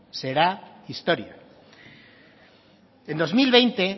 será historia en dos mil veinte